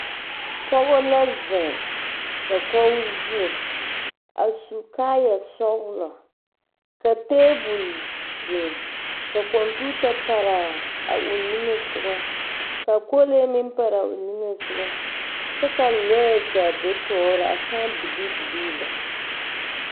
Pͻgͻ la zeŋe dakogi zu. A su kaaya sͻgelͻ, ka teebole biŋi, ka kͻmpiita pare a o niŋe sogͻ ka kolee meŋ pare o niŋeŋ sogͻ kyԑ ka lͻԑ gaa be tͻͻre a saa bilii bilii lԑ.